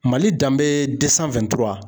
Mali danbe .